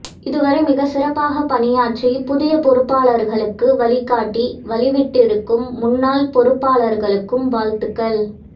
இதுவரை மிகச்சிறப்பாகப் பணியாற்றி புதிய பொறுப்பாளர்களுக்கு வழிகாட்டி வழி விட்டிருக்கும் முன்னாள் பொறுப்பாளர்களுக்கும் வாழ்த்துக்கள்